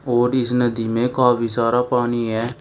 और इस नदी में काफी सारा पानी है।